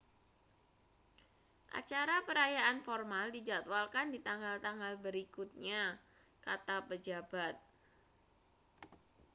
acara perayaan formal dijadwalkan di tanggal-tanggal berikutnya kata pejabat